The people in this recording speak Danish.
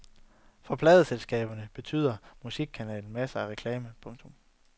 For pladeselskaberne betyder musikkanalen masser af reklame. punktum